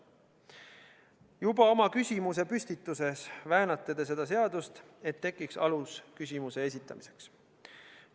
" Juba oma küsimusepüstituses väänate te seda seadust, et tekiks alus küsimuse esitamiseks.